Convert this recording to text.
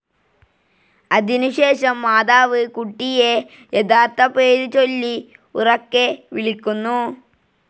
അതിനു ശേഷം മോത്തർ കുട്ടിയേ യഥാർത്ഥ പേരു ചൊല്ലി ഉറക്കെ വിളിക്കുന്നു.